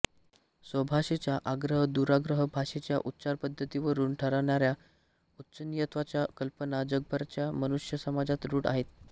स्वभाषेचा आग्रह दुराग्रह भाषेच्या उच्चारपद्धतीवरून ठरणाऱ्या उच्चनीचत्वाच्या कल्पना जगभरच्या मनुष्यसमाजात रूढ आहेत